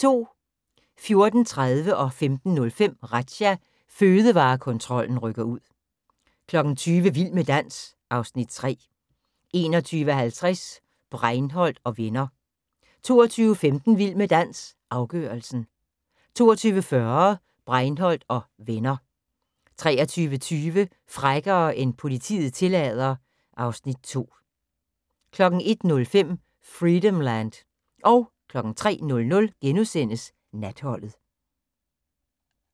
14:30: Razzia – Fødevarekontrollen rykker ud 15:05: Razzia – Fødevarekontrollen rykker ud 20:00: Vild med dans (Afs. 3) 21:50: Breinholt & Venner 22:15: Vild med dans – afgørelsen 22:40: Breinholt & Venner 23:20: Frækkere end politiet tillader 2 01:05: Freedomland 03:00: Natholdet *